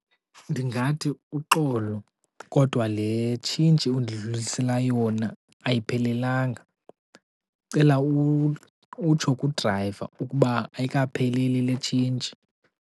Ndingathi uxolo, kodwa le tshintshi undidlulisela yona ayiphelelanga. Ndicela utsho kudrayiva ukuba ayikapheleli le tshintshi.